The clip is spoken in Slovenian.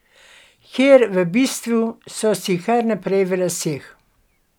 Ker v bistvu so si kar naprej v laseh.